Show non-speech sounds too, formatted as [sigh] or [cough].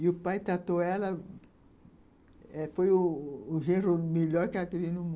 E o pai tratou ela eh... Foi o o genro melhor que ela teve no mun [unintelligible]